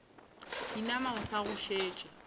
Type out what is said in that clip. inama o sa go šetše